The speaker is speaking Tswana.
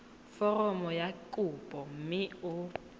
foromo ya kopo mme o